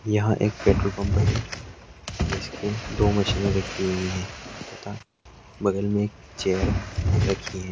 यहा एक petrol pump है जिसकी दो मशीने रखी हुई है। तथा बगल मे एक चेयर रखी है।